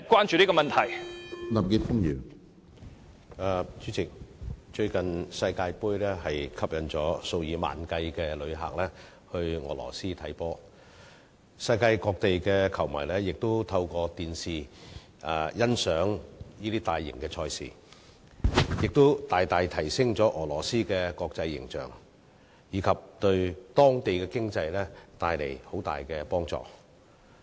主席，最近世界盃吸引了數以萬計的旅客到俄羅斯觀看球賽，世界各地的球迷亦透過電視欣賞大型賽事，大大提升了俄羅斯的國際形象，並對當地的經濟帶來莫大的幫助。